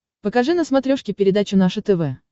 покажи на смотрешке передачу наше тв